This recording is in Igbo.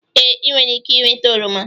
Ee, ị nwere ike ịnweta oroma.